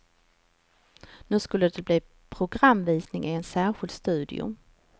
Nu skulle det bli programvisning i en särskild studio.